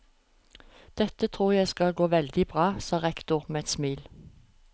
Dette tror jeg skal gå veldig bra, sa rektor med et smil.